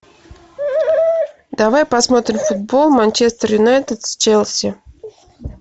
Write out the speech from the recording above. давай посмотрим футбол манчестер юнайтед с челси